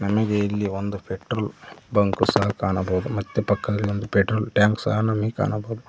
ನಮಗೆ ಇಲ್ಲಿ ಒಂದು ಪೆಟ್ರೋಲ್ ಬಂಕ್ ಸಹ ಕಾಣಬಹುದು ಮತ್ತೆ ಪಕ್ಕದಲ್ಲಿ ಒಂದು ಪೆಟ್ರೋಲ್ ಟ್ಯಾಂಕ್ ಸಹ ನಮಗೆ ಕಾಣಬೋದು.